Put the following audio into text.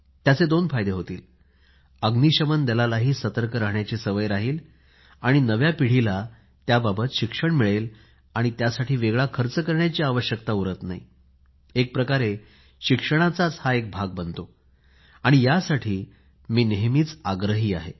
याचे दोन फायदे होतील अग्नीशमन दलालाही सतर्क राहण्याची सवय राहील आणि नव्या पिढीलाही याबाबत शिक्षण मिळेल आणि त्यासाठी वेगळा खर्च करण्याची आवश्यकता उरत नाही एका प्रकारे शिक्षणाचा हा एक भाग बनतो आणि यासाठी मी नेहमीच आग्रही आहे